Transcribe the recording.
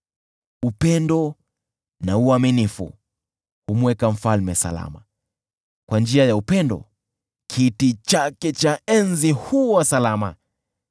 Upendo na uaminifu humweka mfalme salama, kwa njia ya upendo, kiti chake cha enzi huwa salama.